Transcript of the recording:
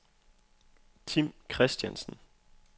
Tim Christiansen